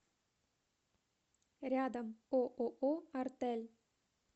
рядом ооо артель